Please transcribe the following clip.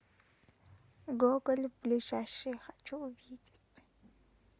гоголь ближайший хочу увидеть